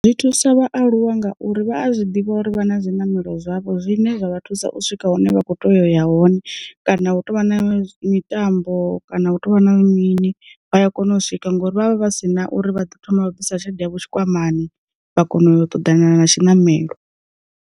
Zwi thusa vhaaluwa ngauri vha a zwi ḓivha uri vha na zwiṋamelo zwavho zwine zwa vha thusa u swika hune vha kho to ya hone kana hu tovha na mitambo, kana hu tovha na mini vha ya kona u swika ngori vha vha vha si na uri vha ḓo thoma vha bvisa tshelede tshikwamani vha kona u yo ṱoḓana na tshinamelo.